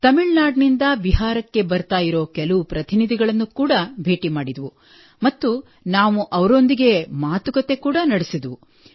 ತಮಿಳುನಾಡಿನಿಂದ ಬಿಹಾರಕ್ಕೆ ಬರುತ್ತಿರುವ ಕೆಲವು ಪ್ರತಿನಿಧಿಗಳನ್ನು ಕೂಡಾ ಭೇಟಿ ಮಾಡಿದೆವು ಮತ್ತು ನಾವು ಅವರೊಂದಿಗೆ ಕೂಡಾ ಮಾತುಕತೆ ನಡೆಸಿದೆವು